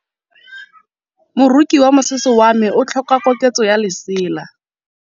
Moroki wa mosese wa me o tlhoka koketsô ya lesela.